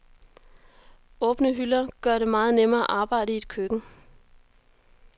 Åbne hylder gør det meget nemmere at arbejde i et køkken.